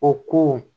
O ko